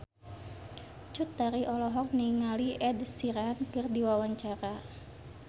Cut Tari olohok ningali Ed Sheeran keur diwawancara